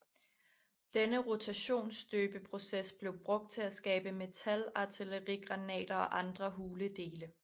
Denne rotationsstøbeproces blev brugt til at skabe metal artillerigranater og andre hule dele